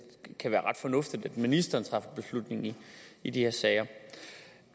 kan være ret fornuftigt at ministeren træffer beslutning i de her sager